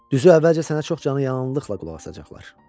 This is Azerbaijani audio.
Düzü əvvəlcə sənə çox canıyananlıqla qulaq asacaqlar.